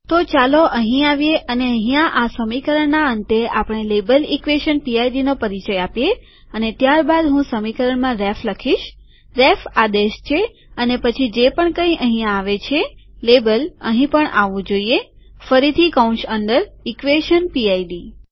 તો ચાલો અહીં આવીએ અને અહીંયા આ સમીકરણના અંતે આપણે લેબલ ઇક્વેશન પીઆઈડી નો પરિચય આપીએ અને ત્યારબાદ હું સમીકરણમાં રેફ લખીશ રેફ આદેશ છે અને પછી જે પણ કઈ અહીંયા આવે છે લેબલ અહીં પણ આવવું જોઈએ ફરીથી કૌંસ અંદર ઇક્વેશન પીઆઈડી